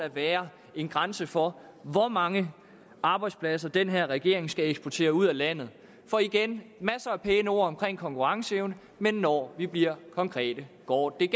være en grænse for hvor mange arbejdspladser den her regering skal eksportere ud af landet igen masser af pæne ord omkring konkurrenceevne men når vi bliver konkrete går det